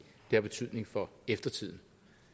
det har betydning for eftertiden